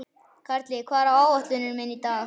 Karli, hvað er á áætluninni minni í dag?